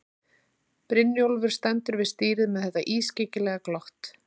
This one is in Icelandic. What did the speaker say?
Brynjólfur stendur við stýrið með þetta ískyggilega glott.